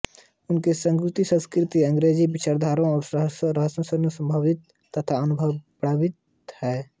उनकी समूची संस्कृति अंग्रेजी विचारधारा और रहनसहन से प्रभावित तथा अनुप्रमाणित है